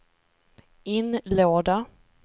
inlåda